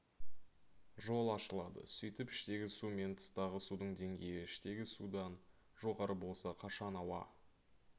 жол ашылады сөйтіп іштегі су мен тыстағы судың деңгейі іштегі судан жоғары болса қашан ауа